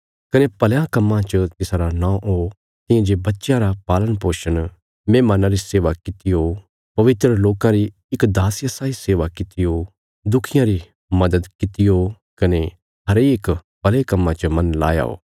कने भलयां कम्मां च तिसारा नौं हो तियां जे बच्चयां रा पाल़णपोषण मेहमान्नां री सेवा कित्ती हो पवित्र लोकां री इक दासिया साई सेवा कित्ती हो दुखियां री मद्‌द कित्ती हो कने हरेक भले कम्मां च मन लाया हो